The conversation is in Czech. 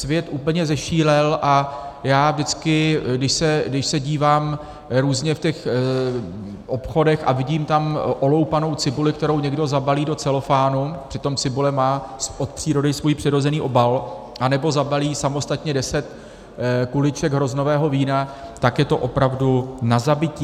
Svět úplně zešílel, a já vždycky, když se dívám různě v těch obchodech a vidím tam oloupanou cibuli, kterou někdo zabalí do celofánu, přitom cibule má od přírody svůj přirozený obal, anebo zabalí samostatně deset kuliček hroznového vína, tak je to opravdu na zabití.